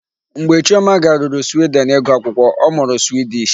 Mgbe Chioma garuru Sweden ịgụ akwụkwọ, ọ mụrụ Swedish.